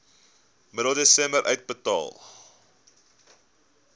middel desember uitbetaal